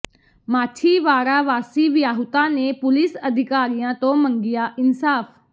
ਮਾਛੀਵਾਡ਼ਾ ਵਾਸੀ ਵਿਆਹੁਤਾ ਨੇ ਪੁਲੀਸ ਅਧਿਕਾਰੀਆਂ ਤੋਂ ਮੰਗਿਆ ਇਨਸਾਫ਼